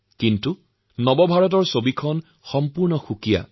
কিন্তু নিউ Indiaৰ ছবিখন একেবাৰেই পৃথক